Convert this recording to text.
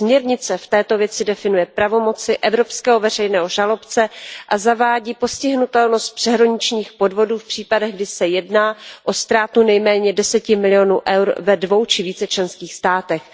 Směrnice v této věci definuje pravomoci evropského veřejného žalobce a zavádí stíhatelnost přeshraničních podvodů v případech, kdy se jedná o ztrátu nejméně 10 milionů EUR ve dvou či více členských státech.